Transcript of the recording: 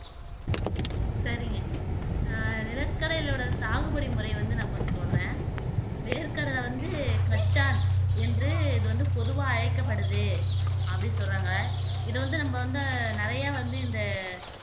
சரிங்க அஹ் நிலக்கடையோட சாகுபடி முறைய வந்து நான் கொஞ்சம் சொல்றேன் வேர்க்கடலை வந்து கச்சான் என்று இது வந்து பொதுவா அழைக்கப்படுது அப்படின்னு சொல்றாங்க இதை வந்து நம்ம வந்து நிறைய வந்து இந்த